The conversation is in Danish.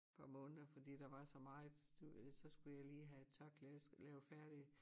Par måneder fordi der var så meget så skulle jeg lige have et tørklæde lavet færdig